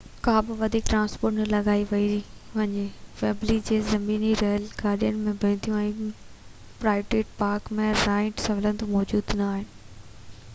ڪا بہ وڌيڪ ٽرانسپورٽ نہ لڳائي پئي وڃي ۽ ويمبلي تي زميني ريل گاڏيون نہ بيهنديون ۽ گرائونڊ تي پارڪ ۽ رائيڊ سهولتون موجود نہ آهن